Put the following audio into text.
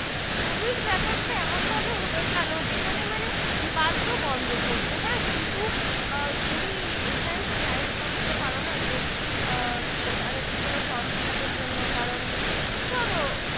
যেখানে মানে বাধ্য বন্ধ করতে হ্যা কিন্তু আহ তুমি এখানে তো Right বলে দিতে পারো না যে আহ তাদের কোন From fill up জন্য কারন ধরো